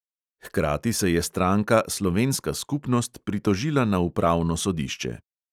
Hkrati se je stranka slovenska skupnost pritožila na upravno sodišče.